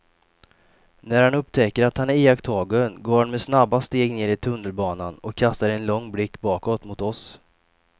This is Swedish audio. När han upptäcker att han är iakttagen går han med snabba steg ner i tunnelbanan och kastar en lång blick bakåt mot oss.